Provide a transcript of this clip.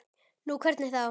Nú, hvernig þá?